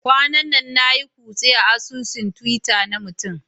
Kwanan nan na yi kutse a asusun Twitter na mutum